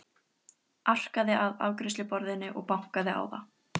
Arkaði að afgreiðsluborðinu og bankaði á það.